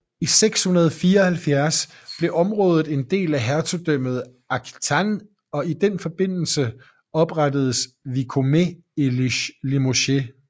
I 674 blev området en del af Hertugdømmet Aquitaine og i den forbindelse oprettedes vicomtet i Limoges